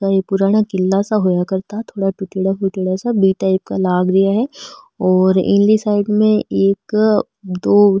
ओ एक पुराना किला सा हुआ करता थोड़ा टूट्योडा फूट्योड़ा सा बी टाइप का लाग रिया है और इनली साइड में एक दो --